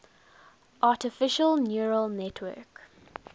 artificial neural network